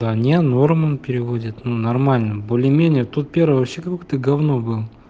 да не норм он переводит ну нормально более-менее тот первый вообще какое то гавно был